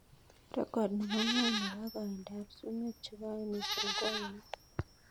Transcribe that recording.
Rekod nebo ng'wony nebo koindab sumek chegoen mising ko ainon